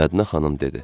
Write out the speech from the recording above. Mədinə xanım dedi: